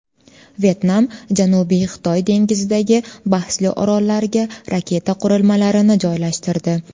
Vyetnam Janubiy Xitoy dengizidagi bahsli orollarga raketa qurilmalarini joylashtirdi.